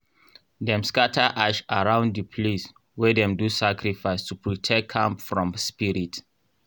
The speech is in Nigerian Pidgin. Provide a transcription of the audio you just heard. dem scatter ash around di place wey dem do sacrifice to protect am from spirit.